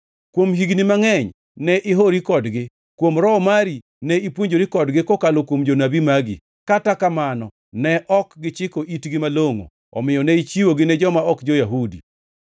Kuom higni mangʼeny ne ihori kodgi. Kuom Roho mari ne ipuonjori kodgi kokalo kuom jonabi magi. Kata kamano, ne ok gichiko itgi malongʼo, omiyo ne ichiwogi ne joma ok jo-Yahudi.